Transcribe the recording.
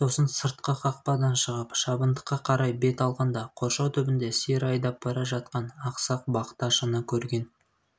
сосын сыртқы қақпадан шығып шабындыққа қарай бет алғанда қоршау түбінде сиыр айдап бара жатқан ақсақ бақташыны көрген